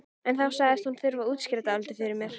En þá sagðist hún þurfa að útskýra dálítið fyrir mér.